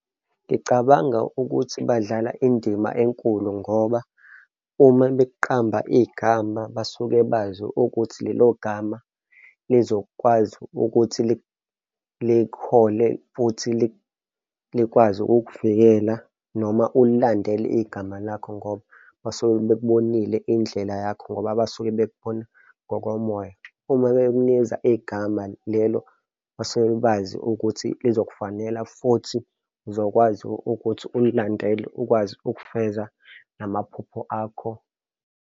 Ngicabanga ukuthi badlala indima enkulu ngoba uma bekqamba igama basuke bazi ukuthi lelo gama lizokwazi ukuthi likhole futhi likwazi ukukuvikela noma ulilandele igama lakho ngoba basuke bekubonile indlela yakho ngoba basuke bekbone ngokomoya. Uma beknikeza igama lelo basuke bazi ukuthi lizokufanela futhi, uzokwazi ukuthi ulilandele ukwazi ukufeza namaphupho akho.